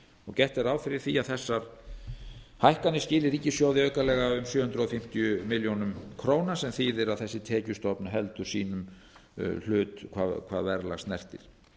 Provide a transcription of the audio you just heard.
gert er ráð fyrir því að þessar hækkanir skili ríkissjóði aukalega sjö hundruð fimmtíu milljónir króna sem þýðir að þessi tekjustofn heldur sínum hlut hvað verðlag snertir